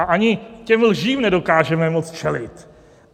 A ani těm lžím nedokážeme moc čelit.